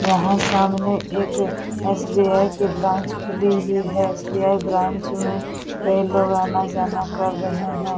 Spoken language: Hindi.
वहां सामने एक एस.बी.आई. की ब्रांच खुली हुई है एस.बी.आई. ब्रांच में कई लोग आना-जाना कर रहें हैं।